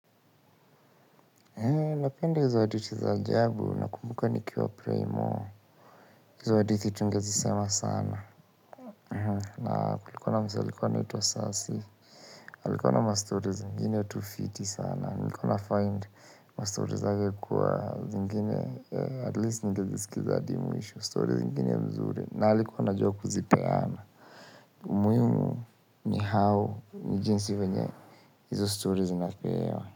Eee napenda hizo hadithi za ajabu, nakumbuka nikiwa prymo, hizo hadithi tungezisema sana. Na kulikuwa na msee alikuwa anaitwa Salse, alikuwa na mastori zingine tu fiti sana. Nilikuwa nafind mastori zake kuwa zingine at least ningeziskiza hadi mwisho. Kwa hivyo, kwa hivyo, kwa hivyo, kwa hivyo, kwa hivyo, kwa hivyo, kwa hivyo, kwa hivyo, kwa hivyo, kwa hivyo, k.